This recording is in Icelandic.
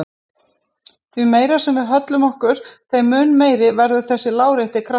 Því meira sem við höllum okkur þeim mun meiri verður þessi lárétti kraftur.